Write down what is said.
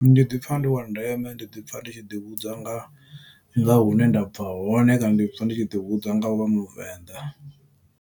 Ndi ḓipfa ndi wa ndeme ndi ḓi pfha ndi tshi ḓi hudza nga nga hune ndabva hone kana ndi pfha ndi tshi ḓi hudza nga uvha muvenḓa.